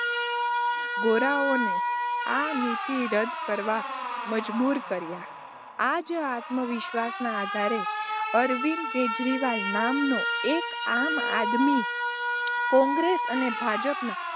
ગોરાઓને આ નીતિ રદ્દ કરવાં મજબૂર કર્યા. આજ, આત્મવિશ્વાસનાં આધારે અરવિંદ કેજરીવાલ નામનો એક આમ-આદમી કોંગ્રેસ અને ભાજપનાં,